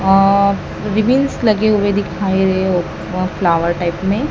अ ribbons लगे हुए दिखाई दे हो प फ्लावर टाइप में।